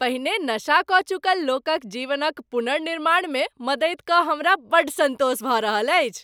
पहिने नशा कऽ चुकल लोकक जीवनक पुनर्निर्माणमे मदति कऽ हमरा बड़ सन्तोष भऽ रहल अछि।